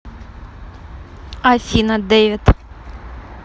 афина дэвид